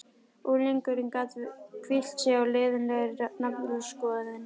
Unglingurinn gat hvílt sig á leiðinlegri naflaskoðun.